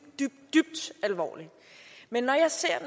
dybt alvorligt men når jeg ser